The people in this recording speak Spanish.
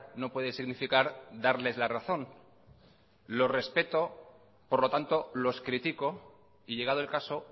no puede significar darles la razón lo respeto por lo tanto los critico y llegado el caso